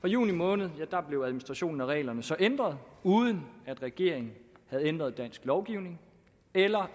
fra juni måned blev administrationen af reglerne så ændret uden at regeringen havde ændret dansk lovgivning eller